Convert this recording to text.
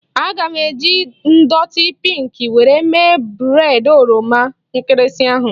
A ga m eji ndọtị pinkị were mee breịd oroma nkịrịsị ahụ